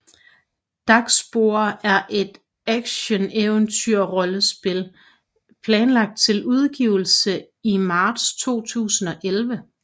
Darkspore er et actioneventyrrollespil planlagt til udgivelse i marts 2011